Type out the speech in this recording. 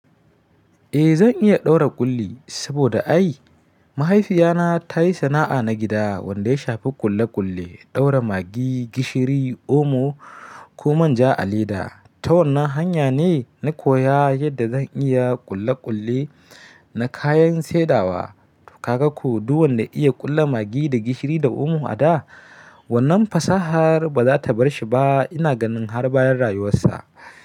Eh zan iya ɗaura ƙulli, saboda ai mahaifiyana ta yi sana'a na gida wanda ya shafi ƙulle-ƙulle, ɗaura Maggi, gishiri, omo ko manja a leda. Ta wannan hanya ne na koya yadda zan iya ƙulle-ƙulle na kayan saidawa. Kaga ko duk wanda iya ƙulle Maggi da gishiri da omo a da, wannan fasahar ba za ta bar shi ba. Ina ganin har bayan rayuwarsa.